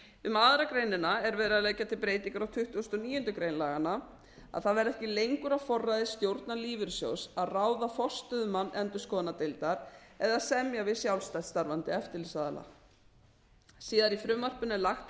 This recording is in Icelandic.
um aðra grein er verið að leggja til breytingar á tuttugustu og níundu grein laganna að það verði lengur á forræði stjórnar lífeyrissjóðs að ráða forstöðumann endurskoðunardeildar eða semja við sjálfstætt starfandi eftirlitsaðila síðar í frumvarpinu er lagt